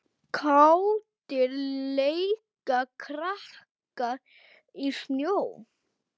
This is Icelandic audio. Kátir leika krakkar í snjó.